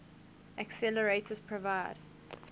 accelerators provide